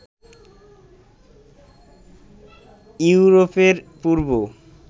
ইউরোপের পূর্ব